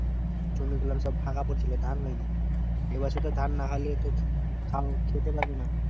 জমি গুলো তো সব ফাঁকা পড়েছিল ধান হয় নি। এই বছর তো ধান না হইলে তোকে তাও খেতে পাবি না।